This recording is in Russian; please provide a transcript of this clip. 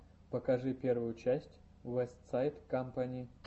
покажи первую часть уэстсайд кампани